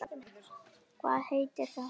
Hvað heitir það?